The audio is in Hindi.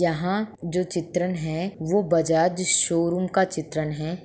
यंहा जो चित्रण है वो बजाज शोरूम का चित्रण है।